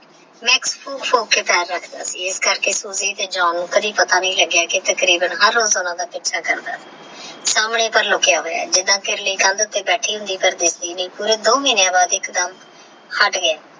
ਮਾਕ੍ਸ ਫੂਕ ਫੂਕ ਕੇ ਪੈਰ ਰਖਦਾ ਸੀ ਆਸ ਕਾਕਰੇ ਸੂਜੀ ਤੇ ਜਾਨ ਨੂ ਕਦੇ ਪਤਾ ਨੀ ਲਾਗ੍ਯ ਕੀ ਮਾਕ੍ਸ ਹਰ ਰੋਜ ਓਹਨਾ ਦਾ ਓਇਚਾ ਕਰਦਾ ਸੀ ਸ੍ਹਾਮਣੇ ਪਰ ਲੁਖ੍ਯਾ ਹੋਯਆ ਹੈ ਜਿਵੇ ਬਿਲ੍ਲੀ ਕਾਂਡ ਉਥੇ ਬੈਤ੍ਰ੍ਹੀ ਹੋਂਦੀ ਆਹ ਪਰ ਦਿਸਦੀ ਨਹੀ ਪੂਰੇ ਦੋ ਮਹੀਨੇ ਵਾਸਤੇ ਏਕ ਦਮ ਹਟ ਗਯਾ